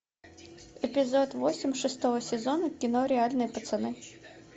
эпизод восемь шестого сезона кино реальные пацаны